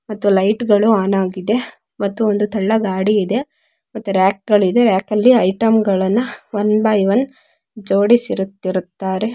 ಮತ್ತು ಲೈಟ್ ಗಳು ಆನ್ ಆಗಿದೆ ಮತ್ತು ಒಂದು ತಳ್ಳೋ ಗಾಡಿ ಇದೆ ಮತ್ತೆ ರಾಕ್ಗಲಿದೆ ರಾಕ್ ಅಲ್ಲಿ ಐಟೆಮ್ಗಳನ್ನ ಒನ್ ಬೈ ಒನ್ ಜೋಡಿಸಿರುತ್ತಿರುತ್ತಾರೆ.